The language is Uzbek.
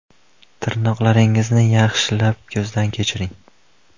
Tirnoqlaringizni yaxshilab ko‘zdan kechiring.